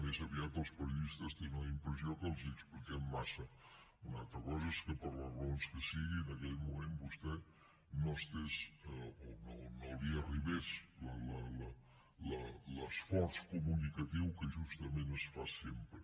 més aviat els periodistes tenen la impressió que els expliquem massa una altra cosa és que per les raons que siguin en aquell moment vostè no hi estigués o no li arribés l’esforç comunicatiu que justament es fa sempre